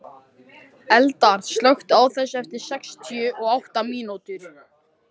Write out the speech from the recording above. Eldar, slökktu á þessu eftir sextíu og átta mínútur.